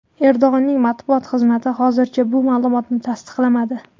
Erdo‘g‘onning matbuot xizmati hozircha bu ma’lumotni tasdiqlamadi.